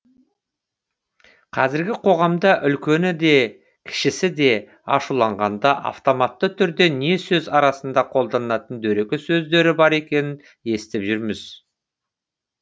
қазіргі қоғамда үлкені де кішісі де ашуланғанда автоматты түрде не сөз арасында қолданатын дөрекі сөздері бар екенін естіп жүрміз